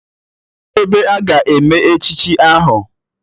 Kedụ ebe a ga-eme echichi ahụ?